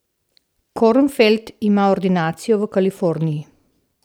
Kornfeld ima ordinacijo v Kaliforniji.